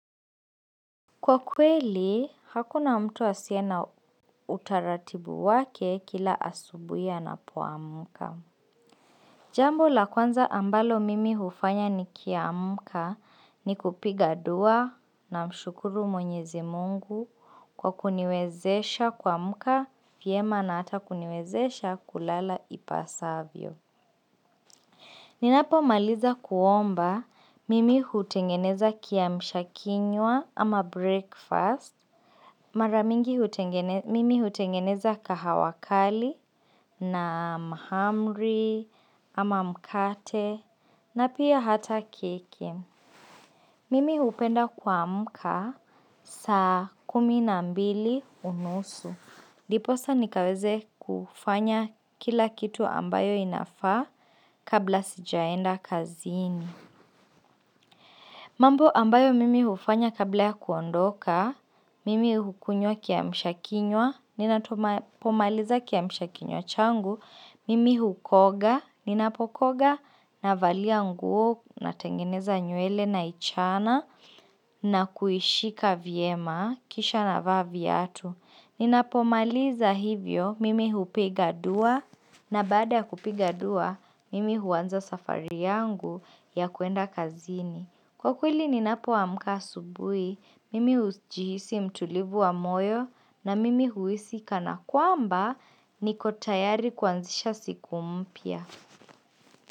Kwa kweli, hakuna mtu asie na utaratibu wake kila asubuhi anapoamuka. Jambo la kwanza ambalo mimi hufanya nikiamuka ni kupiga dua namshukuru mwenyezi mungu kwa kuniwezesha kuamuka vyema na hata kuniwezesha kulala ipasavyo. Ninapomaliza kuomba mimi hutengeneza kiamsha kinywa ama breakfast. Mara mingi mimi hutengeneza kahawa kali na mahamri ama mkate na pia hata keki. Mimi hupenda kuamka saa kumi na mbili unusu. Ndiposa nikaweze kufanya kila kitu ambayo inafaa kabla sijaenda kazini. Mambo ambayo mimi hufanya kabla ya kuondoka, mimi hukunywa kiamshakinywa, ninapomaliza kiamshakinywa changu, mimi hukoga, ninapokoga, navalia nguo, natengeneza nywele naichana, na kuishika vyema, kisha navaa viatu. Ninapomaliza hivyo mimi hupiga dua na baada ya kupiga dua mimi huanza safari yangu ya kwenda kazini. Kwa kweli ninapoamka asubuhi mimi hujihisi mtulivu wa moyo na mimi huisi kana kwamba niko tayari kuanzisha siku mpya.